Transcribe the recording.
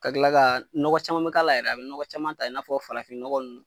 Ka kila ka nɔgɔ caman bɛ k'a la yɛrɛ, a bɛ nɔgɔ caman ta, i na fɔ farafinnɔgɔn ninnu,